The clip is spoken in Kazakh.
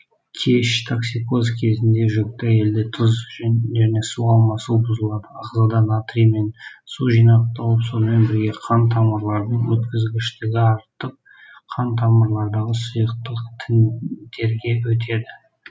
кеш токсикоз кезінде жүкті әйелде тұз және су алмасу бұзылады ағзада натрий мен су жинақталып сонымен бірге қантамырлардың өткізгіштігі артып қантамырлардағы сұйықтық тіндерге өтеді